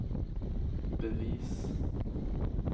bevis